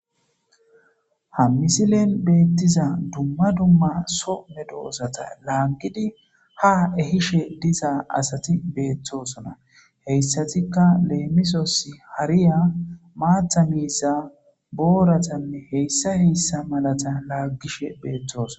Ha misilen beettiza dumma dumma some doosata laangidi ha ehishe dizaa asati beetthosona heyssatikka leemisos hariya maatha miiza booratanne heyssa heyssa malata laaggishe beetthoson.